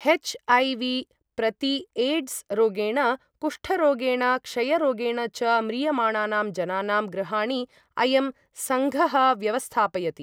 हेच्.ऐ.वी.प्रतिएड्स् रोगेण, कुष्ठरोगेण, क्षयरोगेण च म्रियमाणानां जनानां गृहाणि, अयं सङ्घः व्यवस्थापयति।